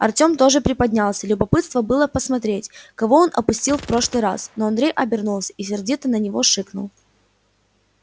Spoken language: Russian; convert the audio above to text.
артем тоже приподнялся любопытно было посмотреть кого он упустил в прошлый раз но андрей обернулся и сердито на него шикнул